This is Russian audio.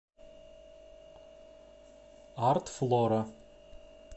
артфлора